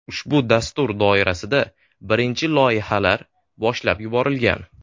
Ushbu dastur doirasida birinchi loyihalar boshlab yuborilgan.